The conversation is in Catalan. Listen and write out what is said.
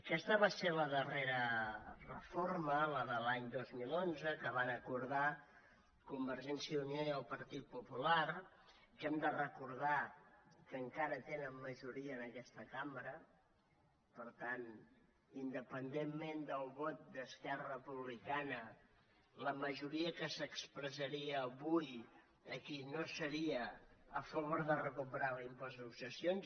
aquesta va ser la darrera reforma la de l’any dos mil onze que van acordar convergència i unió i el partit popular que hem de recordar que encara tenen majoria en aquesta cambra per tant independentment del vot d’esquerra republicana la majoria que s’expressaria avui aquí no seria a favor de recuperar l’impost de successions